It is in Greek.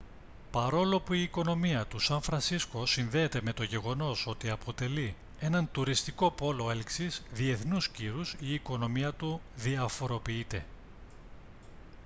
παρόλο που η οικονομία του σαν φρανσίσκο συνδέεται με το γεγονός ότι αποτελεί έναν τουριστικό πόλο έλξης διεθνούς κύρους η οικονομία του διαφοροποιείται